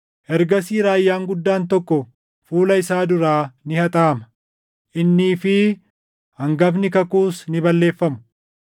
Ergasii raayyaan guddaan tokko fuula isaa duraa ni haxaaʼama; innii fi hangafni kakuus ni balleeffamu.